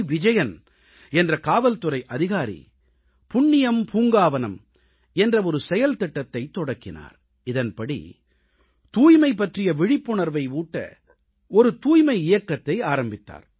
விஜயன் என்ற காவல்துறை அதிகாரி புண்ணியம் பூங்காவனம் என்ற ஒரு செயல்திட்டத்தைத் தொடக்கினார் இதன்படி தூய்மை பற்றிய விழிப்புணர்வை ஊட்ட தூய்மை இயக்கத்தை ஆரம்பித்தார்